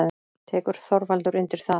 Tekur Þorvaldur undir það?